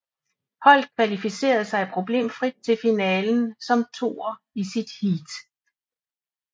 Holdet kvalificerede sig problemfrit til finalen som toer i sit heat